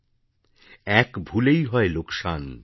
· এক ভুলেই হয় লোকসান